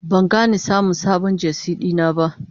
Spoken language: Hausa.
Ban gani samun sabon Jersey dina ba.